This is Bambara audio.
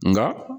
Nka